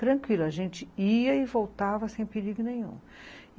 Tranquilo, a gente ia e voltava sem perigo nenhum.